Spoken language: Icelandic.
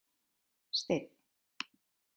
Steinn